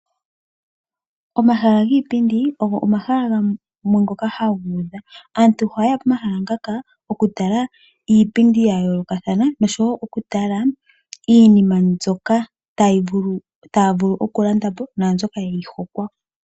Omahala giipindi ogo omahala gamwe ngoka haga udha. Aantu ohaye ya pomahala ngaka okutala iipindi ya yoolokathana nosho wo okutala iinima mbyoka taya vulu okulanda po naa mbyoka ya hokwa.